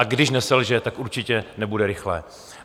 A když neselže, tak určitě nebude rychlé.